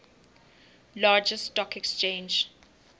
largest stock exchange